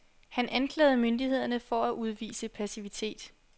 Han anklagede myndighederne for at udvise passivitet.